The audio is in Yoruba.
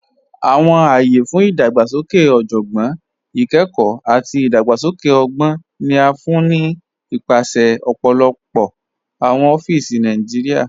Awọn ayé fún idàgbàsókè ọjọ́gbọ́n, ìkẹ́kọ̀, àti idàgbàsókè ọ̀gbọn ni a fún ni nípasẹ̀ ọ̀pọ̀lọpọ̀ awọn ọ̀fíìsì Nàìjíríà.